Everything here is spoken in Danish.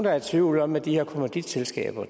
er i tvivl om at de her kommanditselskaber